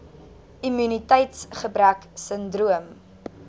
immuniteits gebrek sindroom